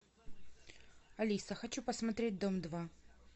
алиса хочу посмотреть дом два